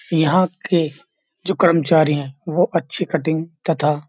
यहां के जो कर्मचारी हैं वह अच्छी कटिंग तथा --